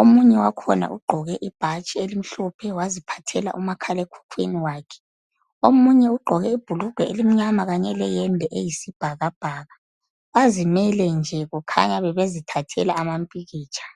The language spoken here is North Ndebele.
Omunye wakhona ugqoke ibhatshi elimhlophe waziphathela umakhalekhukhwini wakhe. Omunye ugqoke ibhulugwe elimnyama kanye leyembe eyisibhakabhaka. Bazimele nje kukhanya bebezithathela ama mpikitsha.